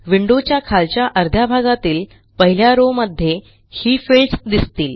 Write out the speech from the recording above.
विंडोच्या खालच्या अर्ध्या भागातील पहिल्या रॉव मध्ये ही फिल्डस दिसतील